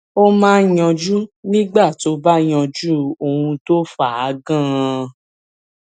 ó máa yanjú nígbà tó o bá yanjú ohun tó fà á ganan